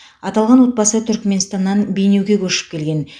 аталған отбасы түрікменстаннан бейнеуге көшіп келген